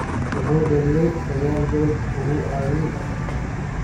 Wuxuu dhaliyay saqal gool oo uu caawiyay afar kale.